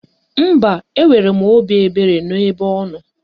Mba, enwere m obi ebere n'ebe ọnọ